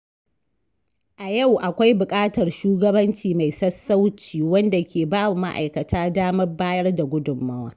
A yau, akwai buƙatar shugabanci mai sassauci wanda ke bawa ma’aikata damar bayar da gudunmawa.